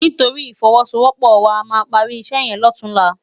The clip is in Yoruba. Nitóri ifòwòsówòpò wá àmá pári isè yèn lòtúnlá